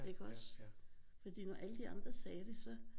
Ikke også fordi når alle de andre sagde det så